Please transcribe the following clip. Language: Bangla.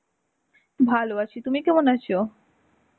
ভালো আছি. তুমি কেমন আছো?